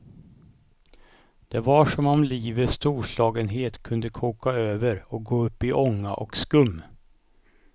Det var som om livets storslagenhet kunde koka över och gå upp i ånga och skum.